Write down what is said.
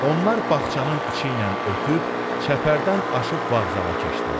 Onlar bağçanın içi ilə ötüb çəpərdən aşıb vağzala keçdilər.